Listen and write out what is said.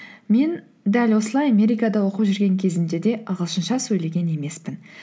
мен дәл осылай америкада оқып жүрген кезімде де ағылшынша сөйлеген емеспін